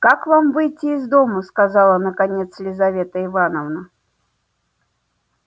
как вам выйти из дому сказала наконец лизавета ивановна